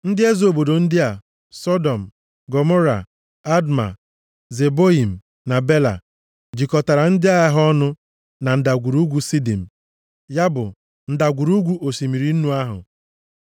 Ndị eze obodo ndị a: Sọdọm, Gọmọra, Adma, Zeboiim na Bela, jikọtara ndị agha ha ọnụ na Ndagwurugwu Sidim (ya bụ, ndagwurugwu osimiri nnu ahụ).